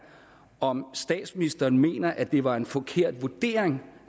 om statsministeren mener at det var en forkert vurdering